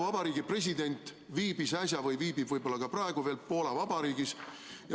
Vabariigi president viibis äsja või viibib võib-olla praegugi veel Poola Vabariigis.